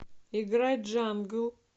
играй джангл